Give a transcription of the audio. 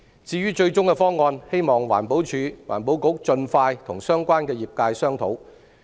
至於最終方案，希望環境保護署盡快與相關業界商討。